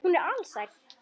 Hún er alsæl.